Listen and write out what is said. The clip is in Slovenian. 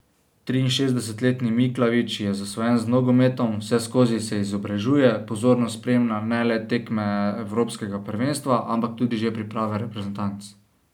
Triinšestdesetletni Miklavič je zasvojen z nogometom, vseskozi se izobražuje, pozorno spremlja ne le tekme evropskega prvenstva, ampak tudi že priprave reprezentanc.